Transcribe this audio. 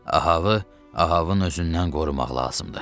Avı Avın özündən qorumaq lazımdır.